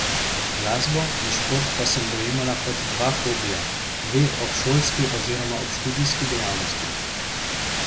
Glasbo in šport pa sem dojemala kot dva hobija, dve obšolski oziroma obštudijski dejavnosti.